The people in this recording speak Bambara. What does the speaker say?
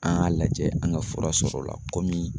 An ŋ'a lajɛ an ŋa fura sɔr'o la kɔmi